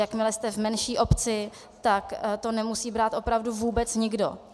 Jakmile jste v menší obci, tak to nemusí brát opravdu vůbec nikdo.